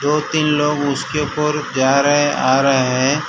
दो तीन लोग उसके ऊपर जा रहे आ रहे है।